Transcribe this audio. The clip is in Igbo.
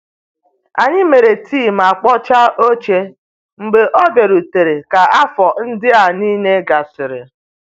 Anyị mere tii ma kpochaa oche mgbe ọ bịarutere ka afọ ndịa niile gasịrị.